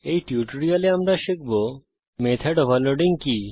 এই টিউটোরিয়ালে আমরা শিখব মেথড ওভারলোডিং কি